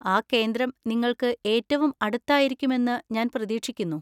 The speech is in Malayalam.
ആ കേന്ദ്രം നിങ്ങൾക്ക് ഏറ്റവും അടുത്തായിരിക്കുമെന്ന് ഞാൻ പ്രതീക്ഷിക്കുന്നു.